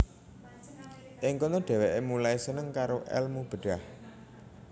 Ing kono dheweke mulai seneng karo elmu bedhah